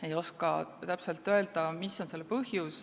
Ei oska täpselt öelda, mis on selle põhjus.